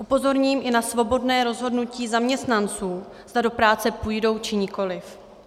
Upozorním i na svobodné rozhodnutí zaměstnanců, zda do práce půjdou, či nikoliv.